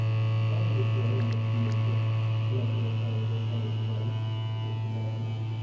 Na lura cewa yawan bacci mai kyau yana taimakawa wajen samun kuzari da ƙoshin lafiya.